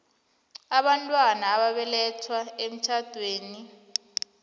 abantwana ababelethwe emtjhadweni